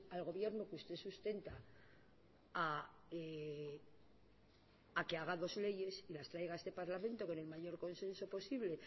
al gobierno que usted sustenta a que haga dos leyes y las traiga a este parlamento con el mayor consenso posible